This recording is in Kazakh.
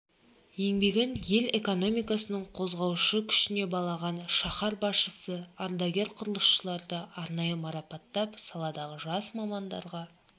еңбегін ел экономикасының қозғаушы күшіне балаған шаһар басшысы ардагер құрылысшыларды арнайы марапаттап саладағы жас мамандарға